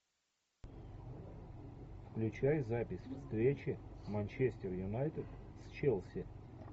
включай запись встречи манчестер юнайтед с челси